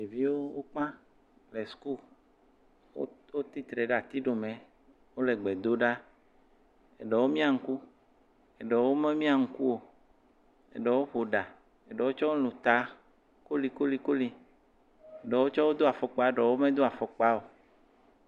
Ɖeviwo, wokpã le sukulu. Wotsi tre ɖe ati ɖomɛɛ. wole gbe do ɖaa. Eɖewo miã ŋku. Eɖewo memiã ŋku o. Eɖewo ƒo ɖa. Eɖewo tsɛ wolũ taa kolikolikoli. Eɖewo tsɛ wodo afɔkpaa, eɖewo medo afɔkpaa o.